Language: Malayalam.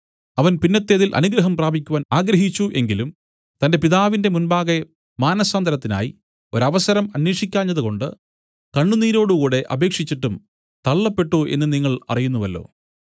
അവൻ പിന്നത്തേതിൽ അനുഗ്രഹം ലഭിപ്പാൻ ആഗ്രഹിച്ചു എങ്കിലും തന്റെ പിതാവിന്റെ മുൻപാകെ മാനസാന്തരത്തിനായി ഒരവസരം അന്വേഷിക്കാഞ്ഞതുകൊണ്ട് കണ്ണുനീരോടുകൂടെ അപേക്ഷിച്ചിട്ടും തള്ളപ്പെട്ടു എന്നു നിങ്ങൾ അറിയുന്നുവല്ലോ